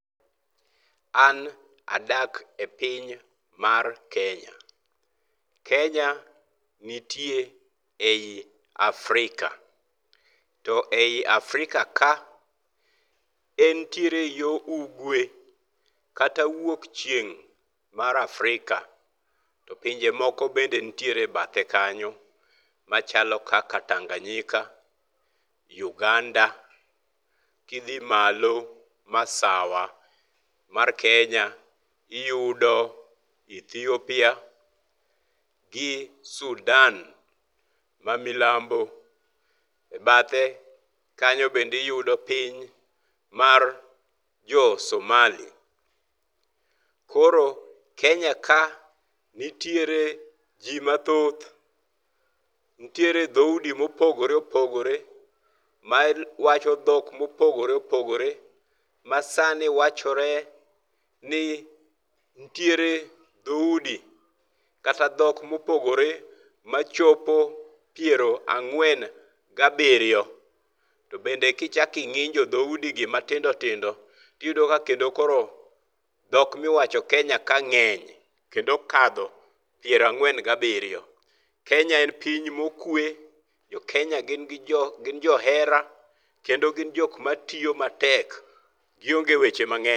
An adak e piny mar Kenya. Kenya nitie ei Afrika, to ei Afrika ka entiere yo Ugwe kata wuok chieng' mar Afrika. To pinje moko be nitie e bathe kanyo machalo kaka Tanganyika, Uganda. Kidhi malo Masawa mar Kenya, iyudo Ethiopia gi Sudan ma Milambo. E bathe kanyo bende iyudo piny mar jo Somali. Koro Kenya ka nitie ji mathoth. Nitiere dhoudi mopogore opogore mawacho dhok mopogore opogore, ma sani wachore ni nitiere dhoudi kata dhok mopogore machopo piero ang'wen gabiriyo. To bende kichak ing'injo dhoudigi matindo tindo, tiyudo ka kendo koro dhok miwacho Kenya ka ng'eny kendo okadho piero ang'wen gabiriyo. Kenya en piny mokwe, jo Kenya gin johera kendo gin joma tiyo matek, gionge weche mang'eny.